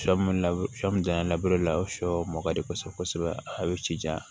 Sɔ min sɔ min la o ye sɔ mugan di kosɛbɛ kosɛbɛ a bɛ ci janya